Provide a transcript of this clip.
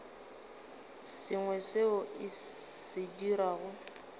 sengwe seo o se dirago